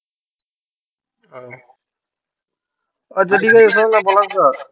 আচ্ছা ঠীক আছে শোনো না পলাশ দা